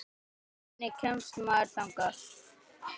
Hvernig kemst maður þangað?